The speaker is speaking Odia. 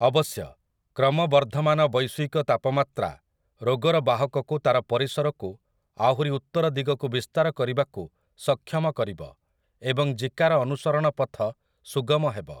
ଅବଶ୍ୟ, କ୍ରମବର୍ଦ୍ଧମାନ ବୈଶ୍ୱିକତାପମାତ୍ରା ରୋଗର ବାହକକୁ ତାର ପରିସରକୁ ଆହୁରି ଉତ୍ତର ଦିଗକୁ ବିସ୍ତାର କରିବାକୁ ସକ୍ଷମ କରିବ, ଏବଂ ଜିକାର ଅନୁସରଣ ପଥ ସୁଗମ ହେବ ।